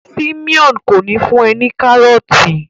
Simon kò ní fún e ní karọọti.